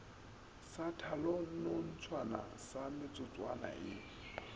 sa tšhalanonthago sa metsotswana ye